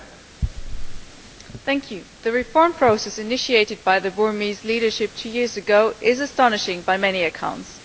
Mr President, the reform process initiated by the Burmese leadership two years ago is astonishing by many accounts.